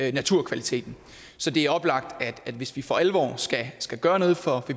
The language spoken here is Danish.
i naturkvaliteten så det er oplagt at hvis vi for alvor skal gøre noget for